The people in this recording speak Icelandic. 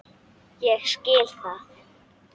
Ég skil það.